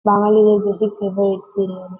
বাঙ্গালিদের basic favourite biryani.